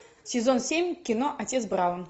сезон семь кино отец браун